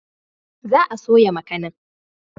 Za a soya makanin.